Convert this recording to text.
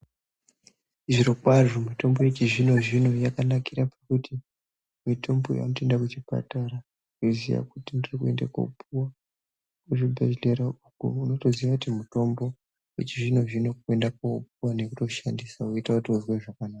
Zvirokwazvo mitombo yechizvino-zvino yakanakira pakuti mitombo iyi vanotoenda kuchipatara veiziya kuti ndiri kuende kopuva kuzvibhedhlerauko. Unotoziya kuti mutombo vechizvino-zvino kuenda kopuva nekutoshandisa voite utozwe zvakanaka.